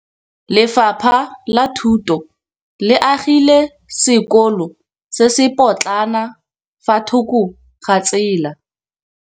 Lefapha la Thuto le agile sekôlô se se pôtlana fa thoko ga tsela.